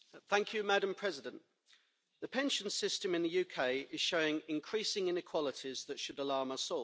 Madam President, the pension system in the UK is showing increasing inequalities that should alarm us all.